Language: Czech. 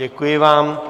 Děkuji vám.